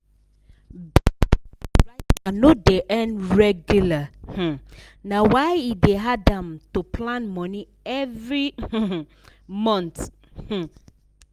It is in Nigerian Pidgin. because the writer no dey earn regular um na why e dey hard am to plan money every um month um